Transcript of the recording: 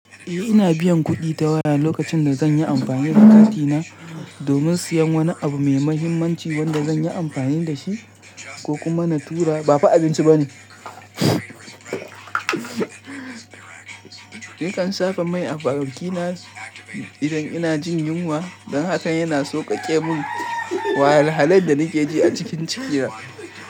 Eh ina biyan kuɗi ta waya lokacin da zan yi amfani da katin na domin siyan wani abu mai mahimmanci wanda zan yi amfani da shi ko kuma na tura ba fa abinci ba ne. Nakan saka mai a farakina idan ina jin yunwa don haka yana sauƙaƙe mun wahalhalen da nake ji a cikin jikina.